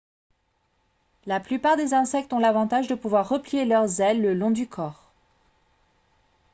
la plupart des insectes ont l'avantage de pouvoir replier leurs ailes le long du corps